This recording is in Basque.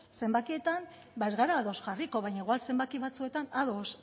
zenbakietan ez gara ados jarriko baina igual zenbaki batzuetan ados